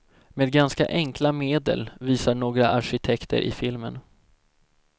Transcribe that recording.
Med ganska enkla medel, visar några arkitekter i filmen.